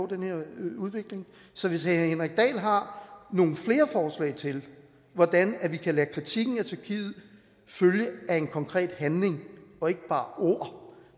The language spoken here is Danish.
den her udvikling så hvis herre henrik dahl har nogle flere forslag til hvordan vi kan lade kritikken af tyrkiet følge af en konkret handling og ikke bare ord